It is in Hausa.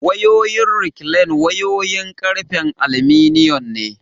Wayoyin rekilan wayoyin ƙarfen alminiyan ne.